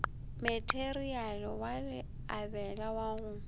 matereiale wa leabela wa go